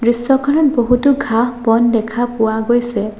দৃশ্যখনত বহুতো ঘাঁহ-বন দেখা পোৱা গৈছে।